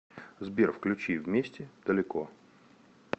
сбер включи вместе далеко